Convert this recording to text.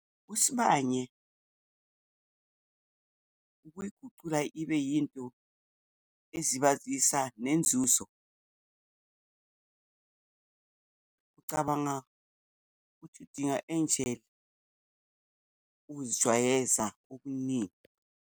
USibanye ukuyigucula ibe yinto ezibazisa nenzuzo. Ucabanga ukuthi udinga enjena ukuzijwayeza okuningi.